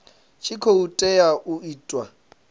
tshi khou tea u itiwa